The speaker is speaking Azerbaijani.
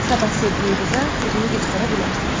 Sabah sevdiyin qıza özünü göstərə bilərsən.